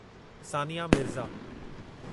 Sania Mirza